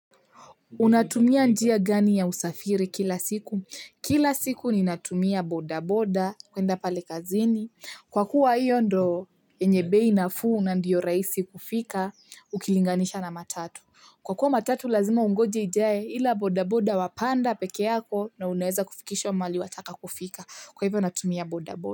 Unatumia njia gani ya usafiri kila siku? Kila siku ni natumia bodaboda, kwenda pale kazini. Kwa kuwa hiyo ndo enyebei nafuu na ndiyo raisi kufika, ukilinganisha na matatu. Kwa kuwa matatu lazima ungoje ijae ila bodaboda wapanda peke yako na uneza kufikishwa mahali wataka kufika. Kwa hivyo natumia bodaboda.